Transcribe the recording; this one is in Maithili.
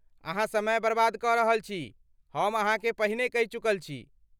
अहाँ समय बर्बाद कऽ रहल छी,, हम अहाँकेँ पहिने कहि चुकल छी।।